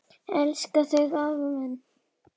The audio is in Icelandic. Elska þig afi minn.